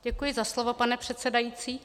Děkuji za slovo, pane předsedající.